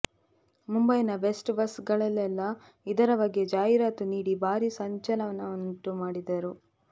ಮುಂಬೈನ BEST bus ಗಳಲ್ಲೆಲ್ಲ ಇದರ ಬಗ್ಗೆ ಜಾಹೀರಾತು ನೀಡಿ ಭಾರೀ ಸಂಚಲನವನ್ನುಂಟು ಮಾಡಿದ್ದರು